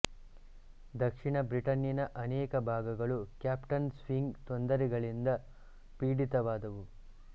ದಕ್ಷಿಣ ಬ್ರಿಟನ್ನಿನ ಅನೇಕ ಭಾಗಗಳು ಕ್ಯಾಪ್ಟನ್ ಸ್ವಿಂಗ್ ತೊಂದರೆಗಳಿಂದ ಪೀಡಿತವಾದವು